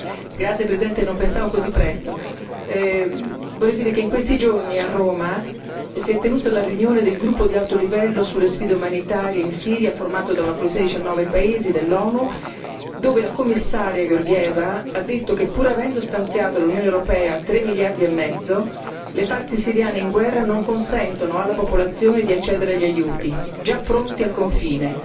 Signor Presidente, onorevoli colleghi, vorrei dire che in questi giorni a Roma si è tenuta la riunione del gruppo di alto livello sulle sfide umanitarie in Siria formato da una coalizione di diciannove paesi dell'ONU, dove il Commissario Georgieva ha detto che pur avendo stanziato, l'Unione europea, tre miliardi e mezzo, le parti siriane in guerra non consentono alla popolazione di accedere agli aiuti già pronti al confine.